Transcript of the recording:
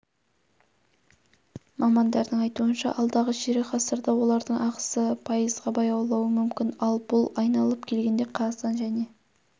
мамандардың айтуынша алдағы ширек ғасырда олардың ағысы пайызға баяулауы мүмкін ал бұл айналып келгенде қазақстан және